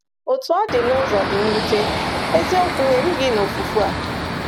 Otú ọ dị, n’ụzọ dị mwute, eziokwu erughị na ofufu a.